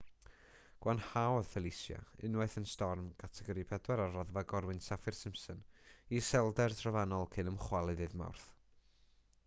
gwanhaodd felicia unwaith yn storm categori 4 ar raddfa gorwynt saffir-simpson i iselder trofannol cyn ymchwalu ddydd mawrth